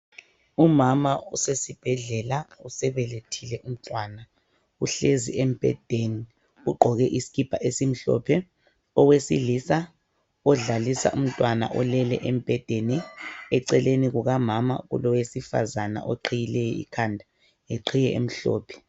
Umama usesibhedlela usebelethile umntwana, uhlezi embhedeni ugqoke isikipa esimhlophe. Owesilisa odlalisa umntwana olele embhedeni eceleni kukamama kulowesifazana oqhiyileyo ikhanda ngeqhiye emhlophe .